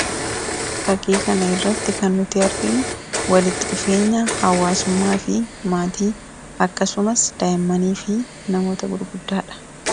Fakkii kana irratti kan arginu walitti dhufeenya hawaasummaa fi maatii akkasumas daa'immanii fi namoota gurguddaadha.